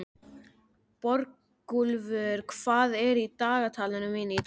Borgúlfur, hvað er í dagatalinu mínu í dag?